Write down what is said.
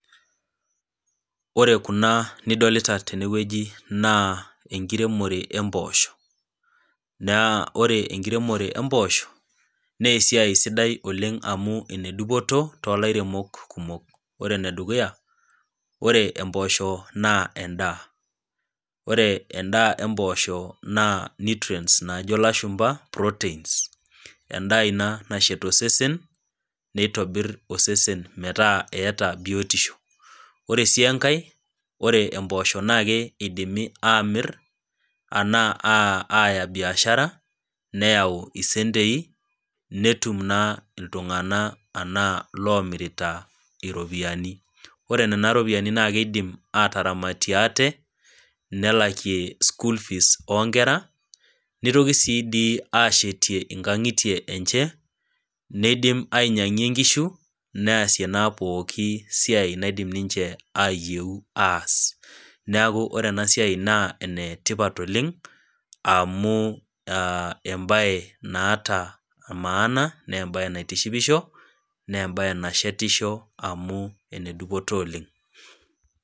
Ore kuna nidolita tene wueji naa enkiremore empoosho, naa ore enkiremore empoosho, naa esidai sidai oleng' amu ene dupoto too ilairemok kumok. Ore ene dukuya, ore empoosho naa endaa, ore endaa empoosho naa nutrients naajo ilashumba proteins, endaa ina nashet osesen, neitobir osesen metaa eata biotisho. Ore sii enkai, naa ore empoosho naa keidimi aamir, anaa aaya biashara, neyau isentei, netum na iltung'ana anaa iloomirita iropiani, ore nena ropiani naa eidim ataaramatie aate, nelakie school fees oo nkera, neitoki sii dii ashetie inkang'itie enche, neidim ainyang'ie inkishu, neasie naa pooki siai naidim ninche nayieu aas, neaku ore ena siai naa ene tipat oleng' amu embae naata emaana naa embae naitishipisho, naa embae nashetisho amu ene dupoto oleng'.